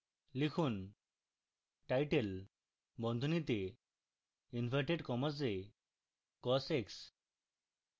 লিখুন title বন্ধনীতে inverted commas এ cos x